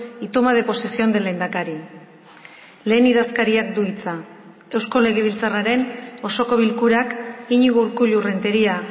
y toma de posesión del lehendakari lehen idazkariak du hitza eusko legebiltzarraren osoko bilkurak iñigo urkullu renteria